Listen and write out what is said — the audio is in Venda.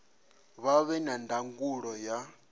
vha vhe na ndangulo ya